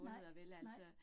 Nej, nej